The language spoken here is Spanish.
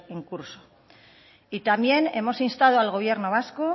en curso también hemos instado al gobierno vasco